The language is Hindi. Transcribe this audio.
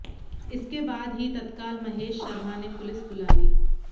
इसके बाद ही तत्काल महेश शर्मा ने पुलिस बुला ली